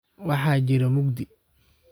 Waxa jire muqdii.